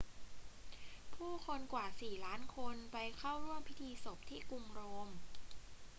ผู้คนกว่าสี่ล้านคนไปเข้าร่วมพิธีศพที่กรุงโรม